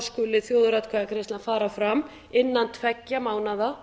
skuli þjóðaratkvæðagreiðslan fara fram innan tveggja mánaða